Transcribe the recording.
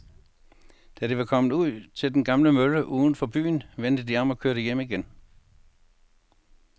Da de var kommet ud til den gamle mølle uden for byen, vendte de om og kørte hjem igen.